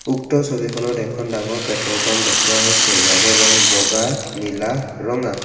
উক্ত ছবিখনত এখন ডাঙৰ পেট্ৰল পাম্প দেখুওৱা হৈছে ইয়াৰে ৰং বগা নীলা ৰঙা।